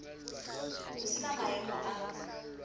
ho se na maemo a